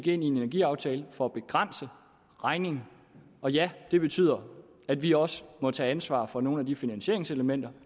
i en energiaftale ja for at begrænse regningen og ja det betyder at vi også må tage ansvar for nogle af de finansieringselementer